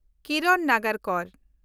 ᱠᱤᱨᱚᱱ ᱱᱟᱜᱟᱨᱠᱚᱨ